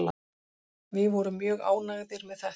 Við vorum mjög ánægðir með þetta